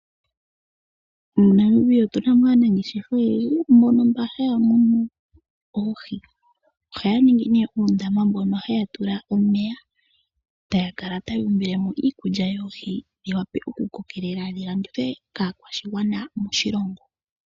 MoNamibia otunamo aanangeshefa oyendji mboka haya munu oohi, ohaya ningi nee puundama mpoka haya tula omeya taya kala taya umbilemo iikulya yoohi yiwape okukokelela dhilandithwe kaakwashigwana moshilongo.